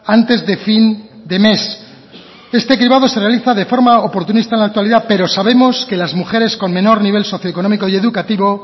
antes de fin de mes este cribado se realiza de forma oportunista en la actualidad pero sabemos que las mujeres con menor nivel socio económico y educativo